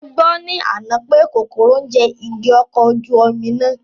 Mo gbọ́ ní àná pè kòkòrò ń jẹ igi ọkọ̀ ojú omi náà